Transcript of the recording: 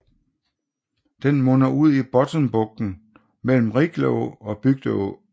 Den munder ud i Bottenbugten mellem Rickleå og Bygdeå